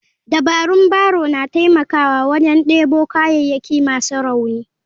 Dabarun barrow na taimakawa wajen debo kayayyaki masu rauni.